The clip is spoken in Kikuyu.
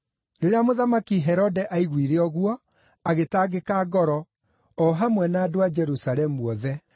Rĩrĩa Mũthamaki Herode aiguire ũguo, agĩtangĩka ngoro, o hamwe na andũ Jerusalemu othe.